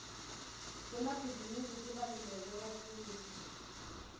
temabhizinisi tibaluleke kakhulu